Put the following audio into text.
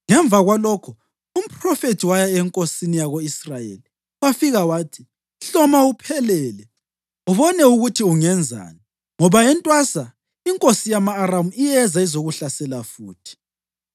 Ngemva kwalokho, umphrofethi waya enkosini yako-Israyeli wafika wathi, “Hloma uphelele ubone ukuthi ungenzani, ngoba entwasa inkosi yama-Aramu iyeza izokuhlasela futhi.”